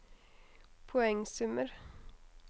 poengsummer